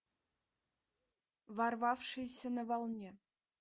ворвавшийся на волне